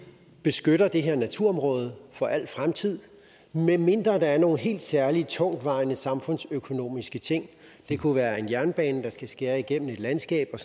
beskytter det her naturområde for al fremtid medmindre der er nogle helt særlige tungtvejende samfundsøkonomiske ting det kunne være en jernbane der skal skære igennem i et landskab og